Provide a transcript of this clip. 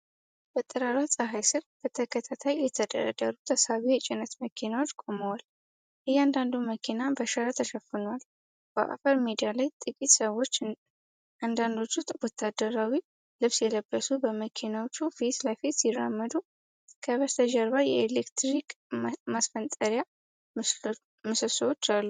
በጠራራ ፀሐይ ስር፣ በተከታታይ የተደረደሩ ተሳቢ የጭነት መኪኖች ቆመዋል። እያንዳንዱ መኪና በሸራ ተሸፍኗል። በአፈር ሜዳ ላይ ጥቂት ሰዎች፣ አንዳንዶቹ ወታደራዊ ልብስ የለበሱ፣ በመኪኖቹ ፊት ለፊት ሲራመዱ። ከበስተጀርባ የኤሌክትሪክ ማስተላለፊያ ምሰሶዎች አሉ።